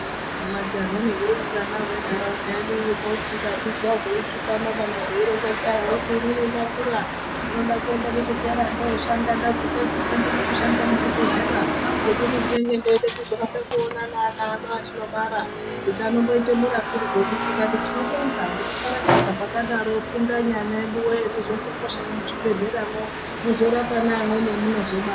Majaha nehurumbwana hwenharaunda yedu kwakuti ukazvizwa zveitukana kana hweireta hweiti inini ndakura ndimoda kuenda kuchikora ndoshanda ndazopedzepo ndoda kushanda muchibhedhlera nekuti ndenge ndeide kuzokasike kuonana neana ano atinobara kuti anomboite murapirwenyu, tikati tinobonga nekukarakadza kwakadaro fundanyi ana eduwe muzoende koshanda muchibhedhleramwo neamweni amuno zobara.